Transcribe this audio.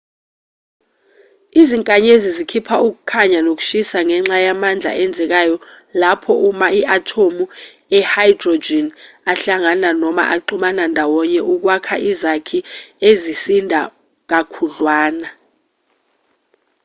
izinkanyezi zikhipha ukukhanya nokushisa ngenxa yamandla enzekayo lapho ama-athomu e-hydrogen ahlangana noma axubana ndawonye ukwakha izakhi ezisinda kakhudlwana